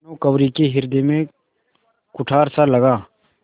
भानुकुँवरि के हृदय में कुठारसा लगा